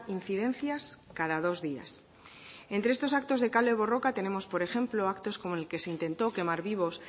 incidencias cada dos días entre estos actos de kale borroka tenemos por ejemplo actos como el que se intentó quemar vivos